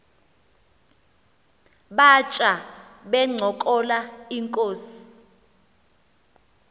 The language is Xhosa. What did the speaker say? batya bencokola inkos